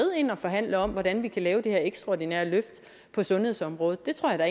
ind og forhandle om hvordan vi kan lave det her ekstraordinære løft på sundhedsområdet det tror jeg da